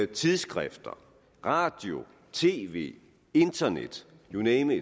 tidsskrifter radio tv internet you name